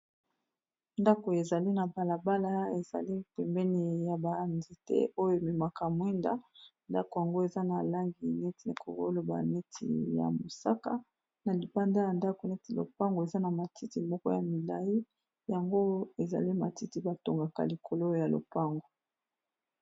Ndako ezali na balabala ezali pembeni ya ba nzete te oyo ememaka mwinda ndako yango eza na langi neti okoki koloba neti ya mosaka na libanda ya ndako neti lopango eza na matiti moko ya milai yango ezali matiti batongaka likolo oyo ya lopango.